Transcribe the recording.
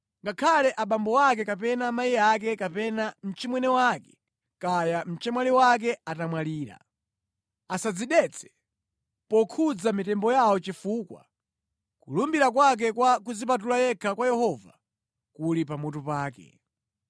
Ngakhale abambo ake kapena amayi ake kapena mchimwene wake kaya mchemwali wake atamwalira, asadzidetse pokhudza mitembo yawo chifukwa kulumbira kwake kwa kudzipatula yekha kwa Yehova kuli pamutu pake.